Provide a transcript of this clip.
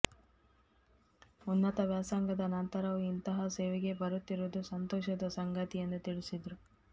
ಉನ್ನತ ವ್ಯಾಸಂಗದ ನಂತರವೂ ಇಂತಹ ಸೇವೆಗೆ ಬರುತ್ತಿರುವುದು ಸಂತೋಷದ ಸಂಗತಿ ಎಂದು ತಿಳಿಸಿದರು